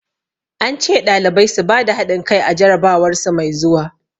An ce ɗalibai su bada hadin kai a jarabawar su mai zuwa.